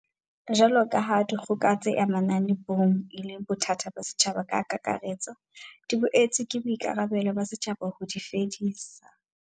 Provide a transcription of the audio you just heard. Jwalokaha dikgoka tse amanang le bong e le bothata ba setjhaba ka kakaretso, di boetse ke boikarabelo ba setjhaba ho di fedisa.